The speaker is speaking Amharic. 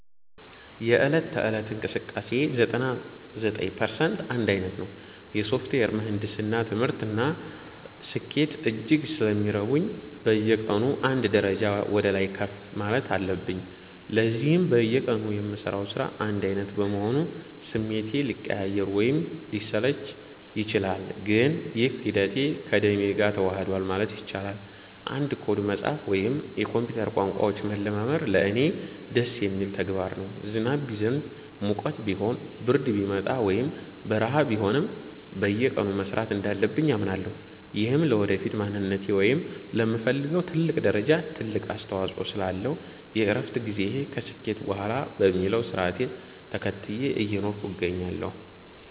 የዕለት ተዕለት እንቅስቃሴዬ 99% አንድ ዓይነት ነው። የሶፍትዌር ምህንድስና ትምህርት እና ስኬት እጅግ ስለሚረቡኝ፣ በየቀኑ አንድ ደረጃ ወደ ላይ ከፍ ማለት አለብኝ። ለዚህም በየቀኑ የምሠራው ሥራ አንድ ዓይነት በመሆኑ ስሜቴ ሊቀያየር ወይም ሊሰለቸኝ ይችላል፤ ግን ይህ ሂደት ከደሜ ጋር ተዋህዷል ማለት ይቻላል። አንድ ኮድ መጻፍ ወይም የኮምፒውተር ቋንቋዎችን መለማመድ ለእኔ ደስ የሚል ተግባር ነው። ዝናብ ቢዘንብ፣ ሙቀት ቢሆን፣ ብርድ ቢመጣ ወይም በረሃ ቢሆንም፣ በየቀኑ መሥራት እንዳለብኝ አምናለሁ። ይህም ለወደፊት ማንነቴ ወይም ለምፈልገው ትልቅ ደረጃ ትልቅ አስተዋጽኦ ስላለው፣ የእረፍት ጊዜን ከስኬት በኋላ በሚለው ሥርዓት ተከትዬ እየኖርኩ እገኛለሁ።